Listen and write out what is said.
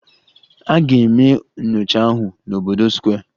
A ga-eme nyocha ahụ n'obodo Square